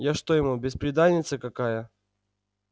я что ему бесприданница какая